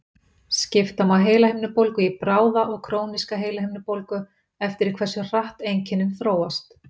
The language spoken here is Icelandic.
Skipta má heilahimnubólgu í bráða og króníska heilahimnubólgu eftir því hversu hratt einkennin þróast.